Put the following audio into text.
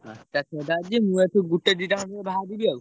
ପାଞ୍ଚଟା ଛଅଟା ଯଦି ମୁଁ ଏଠୁ ଗୋଟେ ଦିଟା ବାହାରିବି ଆଉ।